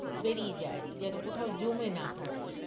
বেড়িয়ে যায় যেন কোথাও জমে না থাকে